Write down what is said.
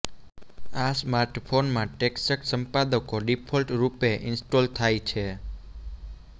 આ સ્માર્ટફોનમાં ટેક્સ્ટ સંપાદકો ડિફોલ્ટ રૂપે ઇન્સ્ટોલ થાય છે